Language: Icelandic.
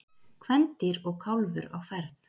Kvendýr og kálfur á ferð.